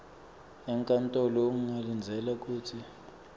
enkantolo ungalindzela kutsi